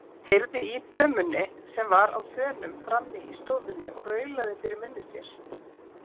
Heyrði í dömunni sem var á þönum frammi í stofunni og raulaði fyrir munni sér.